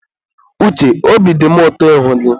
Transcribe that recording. Uche, obi dị mụ ụtọ ịhụ gị.